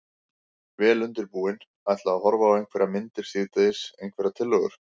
Vel undirbúinn. ætla að horfa á einhverjar myndir síðdegis, einhverjar tillögur?